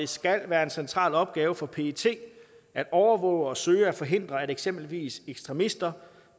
skal være en central opgave for pet at overvåge og søge at forhindre at eksempelvis ekstremister